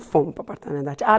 Fomos para o apartamento da tia ah.